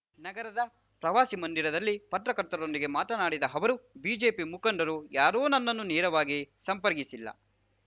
ನಗರದ ಪ್ರವಾಸಿ ಮಂದಿರದಲ್ಲಿ ಪತ್ರಕರ್ತರೊಂದಿಗೆ ಮಾತನಾಡಿದ ಅವರು ಬಿಜೆಪಿ ಮುಖಂಡರು ಯಾರೂ ನನ್ನನ್ನು ನೇರವಾಗಿ ಸಂಪರ್ಕಿಸಿಲ್ಲ